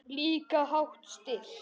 Líka hátt stillt.